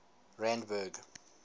randburg